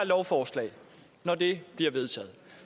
lovforslag når det bliver vedtaget